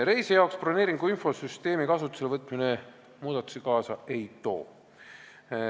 Reisijale broneeringuinfo süsteemi kasutuselevõtmine muudatusi kaasa ei too.